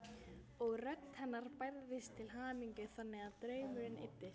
Og rödd hennar bærðist af hamingju þangað til draumurinn eyddist.